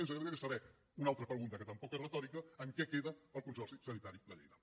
i ens agradaria saber una altra pregunta que tampoc és retòrica en què queda el consorci sanitari de lleida